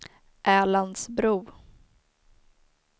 Älandsbro